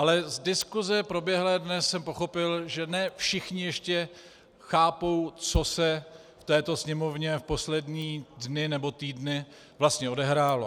Ale z diskuse proběhlé dnes jsem pochopil, že ne všichni ještě chápou, co se v této Sněmovně v poslední dny nebo týdny vlastně odehrálo.